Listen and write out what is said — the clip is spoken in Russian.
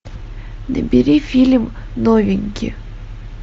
набери фильм новенький